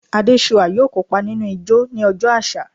Adesua yoo kopa ninu ijó ni ọjọ aṣa